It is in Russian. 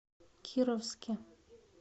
кировске